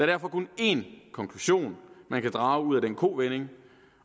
derfor kun en konklusion man kan drage af den kovending